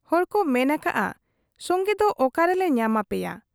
ᱦᱚᱲ ᱠᱚ ᱢᱮᱱ ᱟᱠᱟᱜ ᱟ, ᱥᱚᱝᱜᱮᱫᱚ ᱚᱠᱟ ᱨᱮᱞᱮ ᱧᱟᱢ ᱟᱯᱮᱭᱟ ?